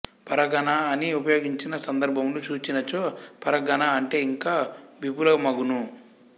పరగణా అని ఉపయెగించిన సందర్భములు చూచినచో పరగణా అంటే ఇంకా విపులమగును